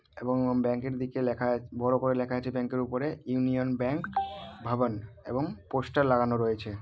এবং ব্যাঙ্ক -এর দিকে লেখা আ বড়ো করে লেখা আছে ব্যাঙ্ক -এর উপরে ইউনিয়ন ব্যাঙ্ক ভাবান এবং পোস্টার লাগানো রয়েছে।